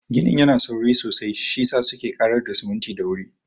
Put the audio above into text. Ginin yana sauri sosai, shiyasa suke ƙarar da siminti da wuri.